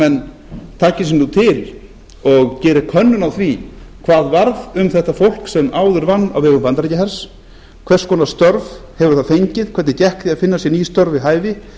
taki sig nú til og geri könnun á því hvað varð um þetta fólk sem áður vann á vegum bandaríkjahers hvers konar störf hefur það fengið hvernig gekk því að finna sér ný störf við hæfi